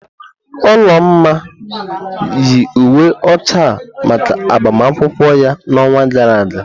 Olamma yi uwe ọcha a maka agbamakwụkwọ ya n'ọnwa gara aga.